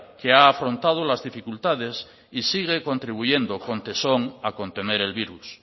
que ha afrontado las dificultades y sigue contribuyendo con tesón a contener el virus